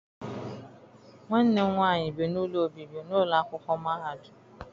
Nwanne m nwaanyị bi n'ụlọ obibi n'ụlọ akwụkwọ mahadum.